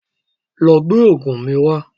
Lọ gbé oògùn mi wá